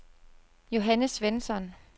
Johanne Svensson